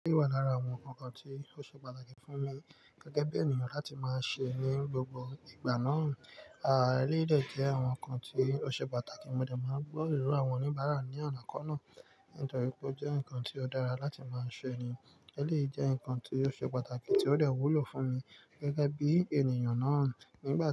Eléyii wà lára àwọn ǹkan tí ó ṣe pàtàkì fún mi gẹ́gẹ́ bí ènìyàn láti máa ń ṣe ní gbogbo ìgbà náà. Àìrí dẹ̀jẹ́ àwọn ǹkan tí ó ṣe pàtàkì, mo dẹ̀ máa ń gbọ́ ìró àwọn oníbàárà ní ọ̀nà kan náà, nítorí pé ó jẹ́ ǹkan tí ó dára láti máa ń ṣe ni. Eléyìí jẹ́ ǹkan tí ó ṣe pàtàkì tí ó dẹ̀ wúlò fún mi gẹ́gẹ́ bí ènìyàn náà nígbà náà.